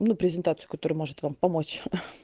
ну презентацию которая может вам помочь ха